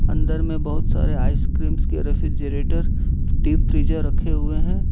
अंदर में बहुत सारे आइसक्रीम के रेफ्रिजरेटर डीप फ्रीजर रखे हुए हैं।